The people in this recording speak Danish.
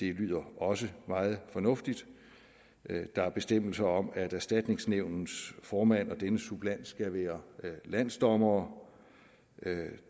det lyder også meget fornuftigt der er bestemmelser om at erstatningsnævnets formand og dennes suppleant skal være landsdommere